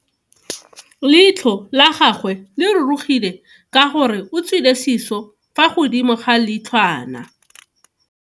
Leitlho la gagwe le rurugile ka gore o tswile siso fa godimo ga leitlhwana.